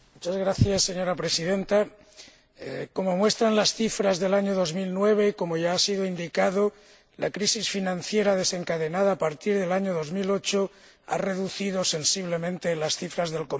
Señora Presidenta, como muestran las cifras del año 2009 y como ya ha sido indicado, la crisis financiera desencadenada a partir del año 2008 ha reducido sensiblemente las cifras del comercio.